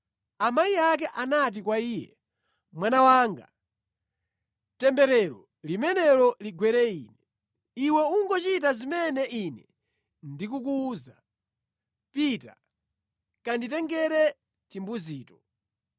Amayi ake anati kwa iye, “Mwana wanga, temberero limenelo ligwere ine. Iwe ungochita zimene ine ndikukuwuza; pita kanditengere timbuzito.”